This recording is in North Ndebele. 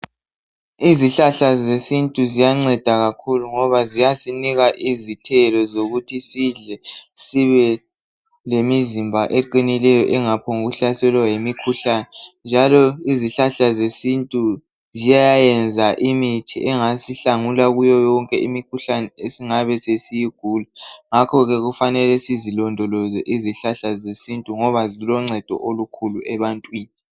Izihlahla zesintu ziyanceda kakhulu ngoba ziyasinika izithelo zokuthi sidle sibe lemizimba eqinileyo engaphongu hlaselwa yimikhuhlane njalo izihlahla zesintu ziyayenza imithi engasihlangula kuyo yonke imikhuhlane esingabe sesiyigula. Ngakho ke kufanele sizilondoloze izihlahla zesintu ngoba ziloncedo olokhulu ebantwini.